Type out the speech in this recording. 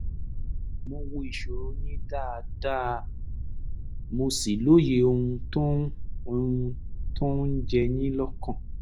mo wo ìṣòro yín dáadáa mo sì lóye ohun tó ń ohun tó ń jẹ yín lọ́kàn